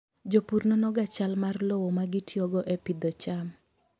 Jopur nonoga chal mar lowo ma gitiyogo e pidho cham.